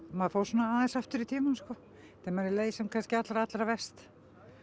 maður fór aðeins aftur í tímann þegar manni leið sem allra allra verst